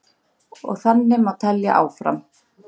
Og þannig má telja áfram.